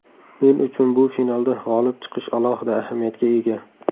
Men uchun bu finalda g‘olib chiqish alohida ahamiyatga ega.